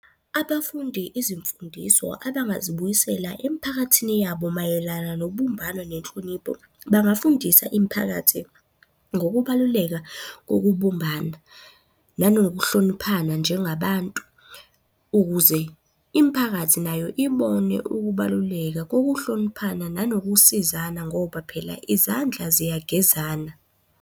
Abafundi izimfundiso abangazibuyisela emphakathini yabo mayelana nobumbano nenhlonipho, bangafundisa imiphakathi ngokubaluleka kokubumbana nanokuhloniphana njengabantu. Ukuze imiphakathi nayo ibone ukubaluleka kokuhloniphana nanokusizana ngoba phela izandla ziyagezana.